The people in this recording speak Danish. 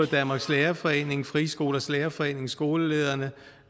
danmarks lærerforening frie skolers lærerforening skolelederforeningen